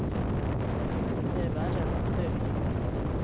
Det är värre än att dö.